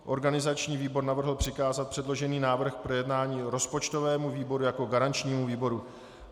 Organizační výbor navrhl přikázat předložený návrh k projednání rozpočtovému výboru jako garančnímu výboru.